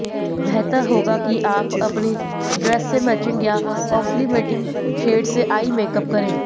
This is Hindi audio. बेहतर होगा कि आप अपनी ड्रेस से मैचिंग या कांप्लिमेंटिंग शेड से आई मेकअप करें